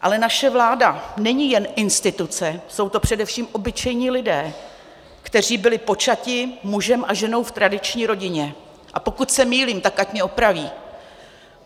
Ale naše vláda není jen instituce, jsou to především obyčejní lidé, kteří byli počati mužem a ženou v tradiční rodině, a pokud se mýlím, tak ať mě opraví.